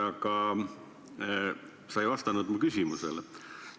Aga sa ei vastanud mu küsimusele.